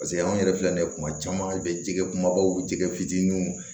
Paseke an yɛrɛ filɛ nin ye kuma caman i bɛ jɛgɛ kumabaw jɛgɛ fitininw